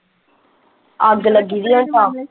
ਅੱਗ ਲੱਗੀ ਦੀ ਆ .